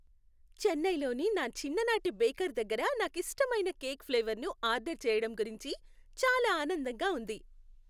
చెన్నైలోని నా చిన్ననాటి బేకర్ దగ్గర నాకిష్టమైన కేక్ ఫ్లేవర్ను ఆర్డర్ చేయటం గురించి చాలా ఆనందంగా ఉంది.